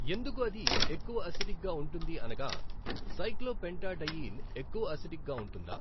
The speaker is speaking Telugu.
ఎందుకు అది ఎక్కువ అసిడిక్ గా ఉంటుంది అనగా సైక్లోపెంటాడఈన్ ఎక్కువ అసిడిక్ గా ఉంటుందా?